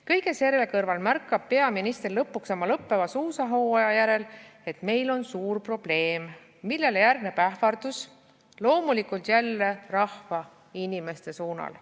Kõige selle kõrval märkab peaminister lõpuks oma lõppeva suusahooaja järel, et meil on suur probleem, millele järgneb ähvardus loomulikult jälle rahva ja inimeste suunal.